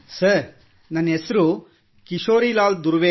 sir ನನನ್ ಹೆಸರು ಕಿಶೋರಿಲಾಲ್ ದುರ್ವೆ